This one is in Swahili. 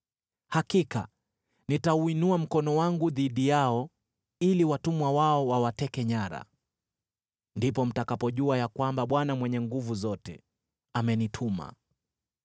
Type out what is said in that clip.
hakika nitauinua mkono wangu dhidi yao ili watumwa wao wawateke nyara. Ndipo mtakapojua ya kwamba Bwana Mwenye Nguvu Zote amenituma.